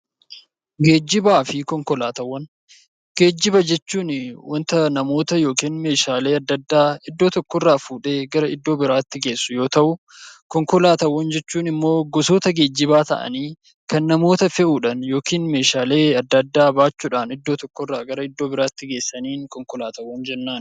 Geejjiba jechuun waanta namoota yookiin meeshaalee adda addaa iddoo tokko irraa fuudhee gara iddoo biraatti geessu yoo ta'u, konkolaataawwan jechuun immoo gosoota geejjibaa ta'anii, kan namoota fe'uudhaan yookiin meeshaalee adda addaa baachuudhaan iddoo tokko irraa gara iddoo biraatti geessaniin konkolaataa jennaan.